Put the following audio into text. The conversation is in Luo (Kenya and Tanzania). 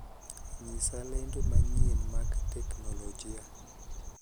ng'isa lendo manyien mag teknolojia